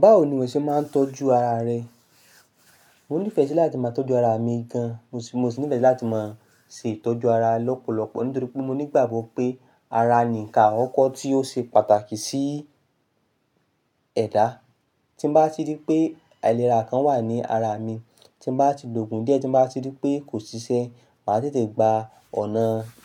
Báwo ni ìwọ ṣe máa ń tọ́jú ara rẹ? Mò nífẹ̀ẹ́ sí láti máa tọ́jú ara mi gan. Mo sì, mo sì nífẹ̀ẹ́ láti máa ṣe ìtọ́jú ara lọ́pọ̀lọpọ̀ nítorí pé mo ní ìgbàgbọ́ pé ara ni nǹkan àkọ́kọ́ tí ó ṣe pàtàkì sí ẹ̀dá. Tí mo bá ti rí pé aìlera kan wà ní ara mi, tí mo bá ti lògún díẹ̀, tí mo bá ti rí pé kò ṣiṣẹ́, màá tètè gba ọ̀nà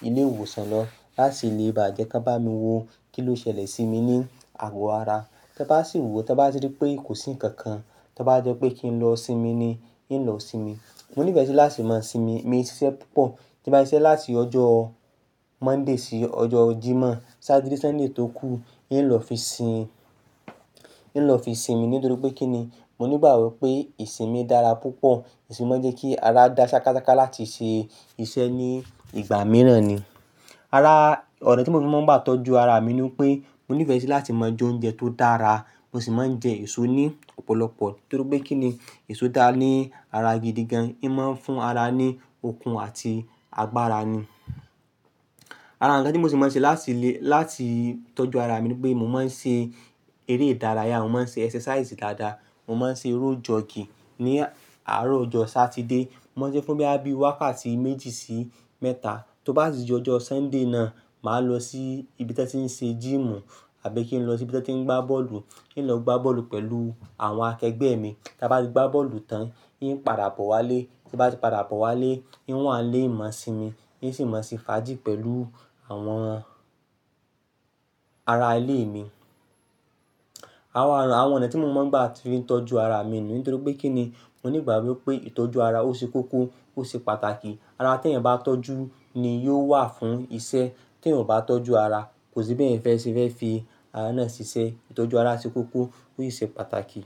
ilé ìwòsàn lọ láti lè ba jẹ́ kí wọ́n bá mi wo kí ló ṣẹlẹ̀ sí mi ní àgọ́ ara. Tí ẹ bá sì wo, tí ẹ bá ti rí pé kò sí nǹkan kan, tí ó bá jẹ́ pé kí n lọ sinmi ni, hín lọ sinmi. Mo nífẹ̀ẹ́ sí láti máa sinmi, mi ṣiṣẹ́ púpọ̀. Tí mo bá ṣiṣẹ́ láti ọjọ́ Monday sí ọjọ́ Jímọ̀ Sátidé, Sunday tó kù, yín lọ fi sin, yín lọ fi sin mi nítorí pé kí ni, mo ní ìgbàgbọ́ pé ìsinmi dára púpọ̀. Ìsinmi máa ń jẹ́ kí ara dá ṣákásáká láti ṣe iṣẹ́ ní ìgbà mìíràn ni. Ara, ọ̀rọ̀ tí mo ti máa ń gbà tọ́jú ara mi ni pé mo nífẹ̀ẹ́ sí láti máa jẹ oúnjẹ tó dára. Mo sì máa ń jẹ èso ní ọ̀pọ̀lọpọ̀ nítorí pé kí ni, èso dára ní ara gidi gan. Í máa ń fún ara ní okun àti agbára ni. Ara nkan tí mo sì máa ń ṣe láti lè, láti tọ́jú ara mi ni pé mo máa ń ṣe eré ìdárayá, mo máa ń ṣe exercise dáadáa. Mo máa ń ṣe road jockey ní àárọ̀ ọjọ́ Sátidé. Mo máa ń ṣe fún bí i wákàtí méjì sí mẹ́ta. Tí o bá sì jọ́ ọjọ́ Sunday náà, màá lọ sí ibi tí ẹ ti ń ṣe gym àbí kí n lọ sí ibi tí wọ́n ti ń gbá bọ́ọ̀lù. Yín lọ gbá bọ́ọ̀lù pẹ̀lú àwọn akẹgbẹ́ mi. Tí a bá ti gbá bọ́ọ̀lù tán, yín padà bọ̀ wá lé. Tí o bá ti padà bọ̀ wá lé, yín wà lé, máa sinmi, yín sì máa ṣe fàájì pẹ̀lú àwọn ará ilé mi. Awọn, àwọn ọ̀nà tí mo máa ń gbà fi ń tọ́jú ara mi ni nítorí pé kí ni, mo ní ìgbàgbọ́ pé ìtọ́jú ara ó ṣe kókó, ó ṣe pàtàkì. Ara tí ẹ̀yin ò bá tọ́jú ni yóò wà fún iṣẹ́. Tí èèyàn ò bá tọ́jú ara, kò sí bí ẹ̀yin fẹ́ ṣe fẹ́ fi ara náà ṣiṣẹ́. Ìtọ́jú ara ṣe kókó, ó sì ṣe pàtàkì.